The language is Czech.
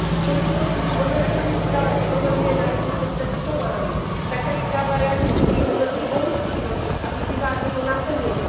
V souvislosti s hodnocením zpráva upozorňuje na riziko testování. Také zpráva realisticky hodnotí Boloňský proces a vyzývá k jeho naplnění.